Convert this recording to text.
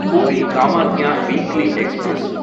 puri Kamakhya weekly express